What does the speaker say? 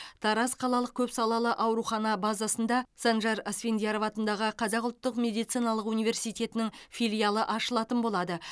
тараз қалалық көпсалалы аурухана базасында санжар асфендияров атындағы қазақ ұлттық медициналық университетінің филиалы ашылатын болады